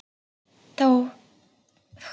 Var það strax ungur.